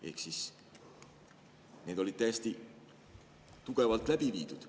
Ehk need olid täiesti tugevalt läbi viidud.